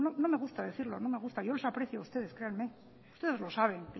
no me gusta decirlo no me gusta yo les aprecio a ustedes créanme ustedes lo saben